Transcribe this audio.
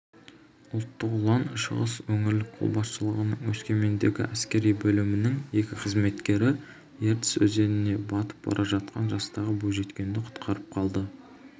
ұлттық ұлан шығыс өңірлік қолбасшылығының өскемендегі әскери бөлімінің екі қызметкері ертіс өзеніне батып бара жатқан жастағы бойжеткенді құтқарып қалды